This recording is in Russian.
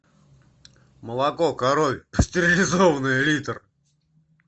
молоко коровье стерилизованное литр